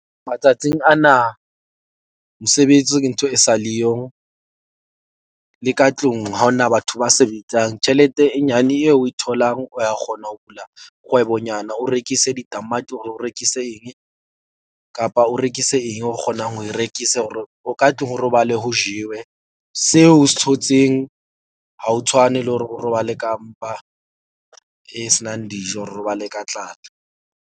Matsatsing ana mosebetsi ke ntho e sa le yong. Le ka tlung ha hona batho ba sebetsang tjhelete e nyane eo o e tholang, o ya kgona ho bula kgwebonyana o rekise ditamati, or o rekise eng kapa o rekise eng o kgonang ho e rekisa hore o ka tlung ho robale ho jewe. Seo o se thotseng ha ho tshwane le hore o robale ka mpa e senang dijo, robale ka tlala.